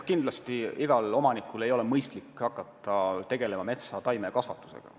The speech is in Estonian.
Kindlasti ei ole igal omanikul endal mõistlik hakata tegelema metsataimede kasvatusega.